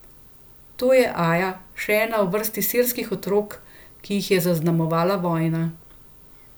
To je Aja, še ena v vrsti sirskih otrok, ki jih je zaznamovala vojna.